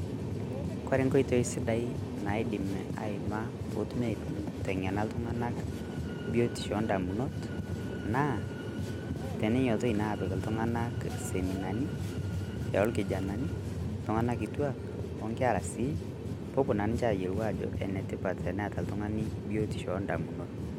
Ore inkoitoi sidan naidim aimaa peetumi aiteng'ena iltung'anak tebiotisho oondamunot naa teninyiototoi naa aapik iltung'anak seminani orkijanani, iltung'anak kituaak onkera sii peepuo naa ninche aayiolou ajo enetipat eneeta oltung'ani biotisho oondamunot.